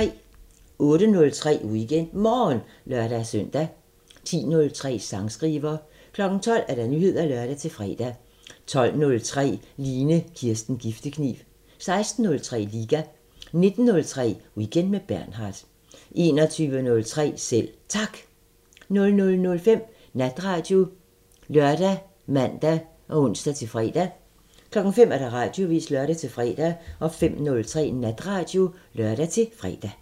08:03: WeekendMorgen (lør-søn) 10:03: Sangskriver 12:00: Nyheder (lør-fre) 12:03: Line Kirsten Giftekniv 16:03: Liga 19:03: Weekend med Bernhard 21:03: Selv Tak 00:05: Natradio ( lør, man, ons-fre) 05:00: Radioavisen (lør-fre) 05:03: Natradio (lør-fre)